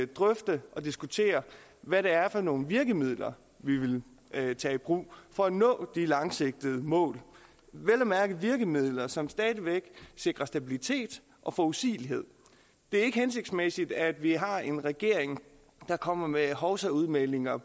drøfte og diskutere hvad det er for nogle virkemidler vi vil tage i brug for at nå de langsigtede mål vel at mærke virkemidler som stadig væk sikrer stabilitet og forudsigelighed det er ikke hensigtsmæssigt at vi har en regering der kommer med hovsaudmeldinger